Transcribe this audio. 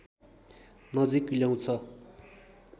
नजिक ल्याउँछ